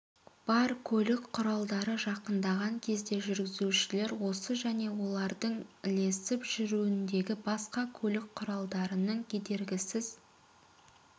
бар көлік құралдары жақындаған кезде жүргізушілер осы және олардың ілесіп жүруіндегі басқа көлік құралдарының кедергісіз